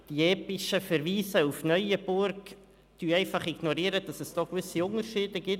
Die epischen Verweise auf Neuenburg ignorieren einfach, dass es gewisse Unterschiede gibt.